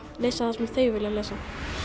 lesa það sem þau vilja lesa